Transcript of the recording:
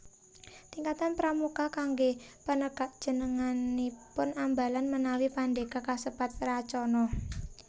Tingkatan Pramuka kangge Penegak jenenganipun Ambalan menawi Pandega kasebat Racana